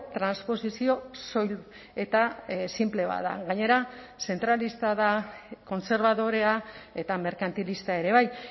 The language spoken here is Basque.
transposizio soil eta sinple bat da gainera zentralista da kontserbadorea eta merkantilista ere bai